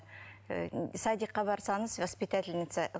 і садикқа барсаңыз воспитательница